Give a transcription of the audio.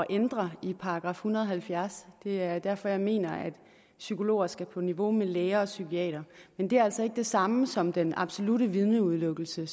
ændre i § en hundrede og halvfjerds det er derfor jeg mener at psykologer skal på niveau med læger og psykiatere men det er altså ikke det samme som den absolutte vidneudelukkelse